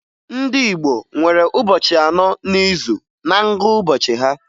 Ndị Igbo nwere ụbọchị anọ n'izu na ngụụbọchị ha.